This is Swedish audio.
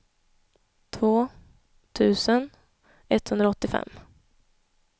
två tusen etthundraåttiofem